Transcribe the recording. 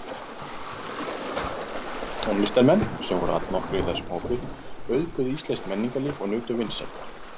Tónlistarmenn, sem voru allnokkrir í þessum hópi, auðguðu íslenskt menningarlíf og nutu vinsælda.